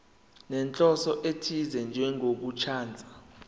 nenhloso ethize njengokuchaza